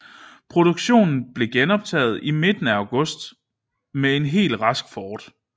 Produktionen blev genoptaget i midten af august med en helt rask Ford